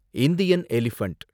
Indian elephant